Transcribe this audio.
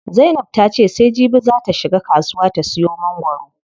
Zainab ta ce sai jibi zaa ta shiga kasuwa ta siyo mangwaro.